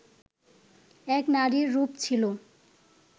এক নারীর রূপ ছিল